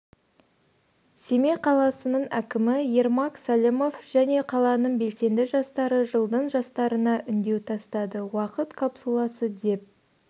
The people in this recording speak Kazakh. семей қаласының әкімі ермак сәлімов және қаланың белсенді жастары жылдың жастарына үндеу тастады уақыт капсуласы деп